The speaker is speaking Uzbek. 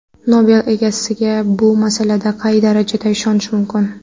Nobel egasiga bu masalada qay darajada ishonish mumkin?